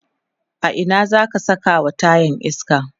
a Ina zaka Saka wa tayan iska?